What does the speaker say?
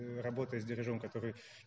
работает с дережём который